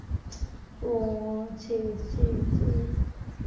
ஓ சரி சரி சரி